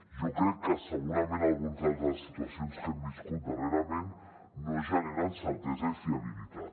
jo crec que segurament algunes de les situacions que hem viscut darrerament no generen certesa i fiabilitat